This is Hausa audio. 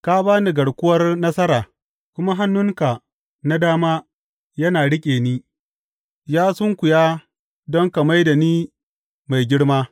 Ka ba ni garkuwar nasara, kuma hannunka na dama yana riƙe ni; ya sunkuya don ka mai da ni mai girma.